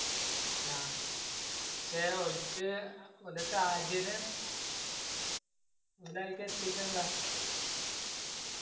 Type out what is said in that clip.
ആ പക്ഷെ ഓല്ക്ക് ഓന്റെ സാഹചര്യം ഓലെ ആയിൽക്ക് എത്തിക്കന്ള്ള